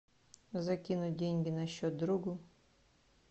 закинуть деньги на счет другу